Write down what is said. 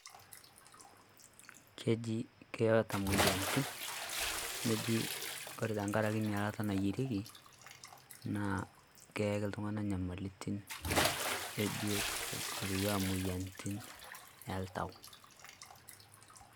keji keetaa moyiaritin neji wore tenkeraki nailata nayierieki naa keyaki iltung'anak inyamalitin ebiotisho arashu moyiaritin oltau